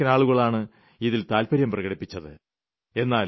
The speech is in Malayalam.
ലക്ഷക്കണക്കിന് ആളുകളാണ് ഇതിൽ താൽപര്യം പ്രകടിപ്പിച്ചത്